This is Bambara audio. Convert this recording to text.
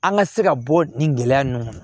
An ka se ka bɔ nin gɛlɛya ninnu kɔnɔ